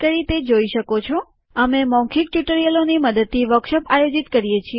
મૌખિક ટ્યુટોરીયલ યોજનાનું જૂથ મૌખિક ટ્યુટોરિયલોની મદદથી વર્કશોપ આયોજિત કરે છે